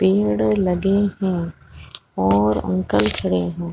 पेड़ और लगे है और अंकल खड़े है।